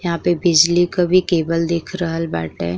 यहाँँ के बिजली का भी केबल दिख रहल बाटे।